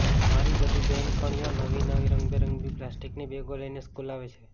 મારી બધી બહેનપણીઓ નવી નવી રંગબેરંગી પ્લાસ્ટીકની બેગો લઈને સ્કૂલે આવે છે